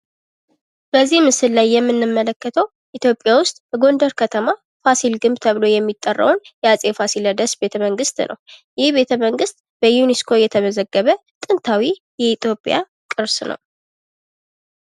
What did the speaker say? ላይ የምንመለከተው ኢትዮጵያ ውስጥ በጎንደር ከተማ ፋሲል ግንብ ተብሎ የሚጠራውን የአፄ ፋሲለደስ ቤተ መንግስት ነው። ይህ ቤተ መንግስት የተመዘገበ ጥንታዊ የኢትዮጵያ ቅርስ ነው።